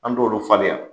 An t'olu falen yan